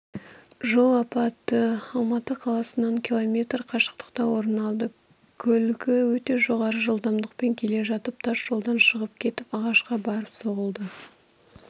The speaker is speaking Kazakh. жол апаты алматы қаласынан километр қашықтықта орын алды көлігі өте жоғары жылдамдықпен келе жатып тас жолдан шығып кетіп ағашқа барып соғылды